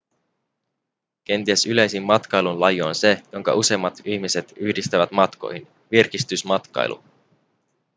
kenties yleisin matkailun laji on se jonka useimmat ihmiset yhdistävät matkoihin virkistysmatkailu